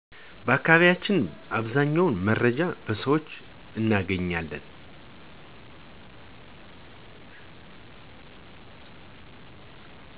በአከባቢያቸን አብዛኛውን መረጃ በሰውች እነገኛለን